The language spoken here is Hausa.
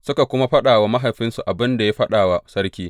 Suka kuma faɗa wa mahaifinsu abin da ya faɗa wa sarki.